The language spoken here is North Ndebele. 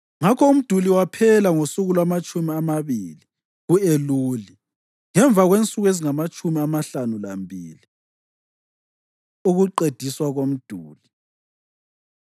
Ngakho umduli waphela ngosuku lwamatshumi amabili ku-Eluli, ngemva kwensuku ezingamatshumi amahlanu lambili. Ukuqediswa Komduli